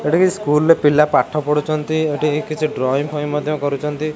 ଏଠି କିସ୍ ସ୍କୁଲ ର ପିଲା ପାଠ ପଢୁଛନ୍ତି ଏଠି କିଛି ଡ୍ରଇଁ ଫଇଁ ମଧ୍ୟ କରୁଚନ୍ତି।